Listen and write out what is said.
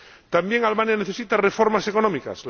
También Albania necesita reformas económicas.